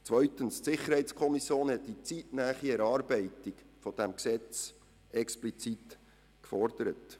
Zweitens hat die SiK die zeitnahe Erarbeitung des Gesetzes explizit gefordert.